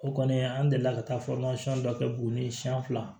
O kɔni an delila ka taa dɔ kɛ buguni siyɛn fila